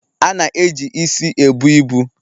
A na eji isi ebu ibu